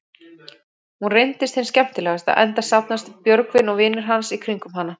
Hún reynist hin skemmtilegasta, enda safnast Björgvin og vinir hans í kringum hana.